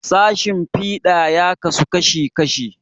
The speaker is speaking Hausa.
Sashen fiɗa ya rabu kashi kashi.